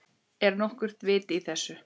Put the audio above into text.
Er nokkurt vit í þessu?